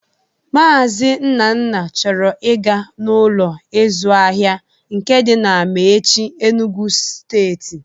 Maazi Nnanna chọrọ ị ga n'Ụlọ ịzụ ahịa nke dị na Amaechi, Enugwu steeti